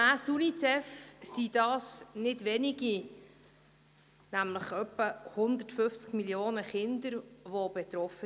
Gemäss United Nations Children’s Fund (Unicef) sind das nicht wenige, sondern es sind etwa 150 Millionen Kinder davon betroffen.